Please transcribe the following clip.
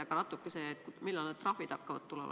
Aga natuke sellest, millal need trahvid hakkavad tulema.